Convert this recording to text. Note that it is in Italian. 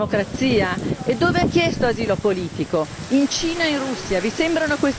Lui ha detto di averlo fatto in nome della democrazia e dove ha chiesto asilo politico?